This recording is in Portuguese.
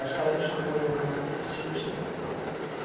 Aí os caras me chamou e meu camarada falou assim, deixa ele cantar um.